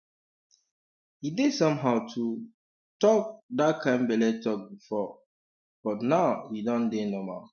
e dey somehow to um talk that kind belle talk before um but now e don dey normal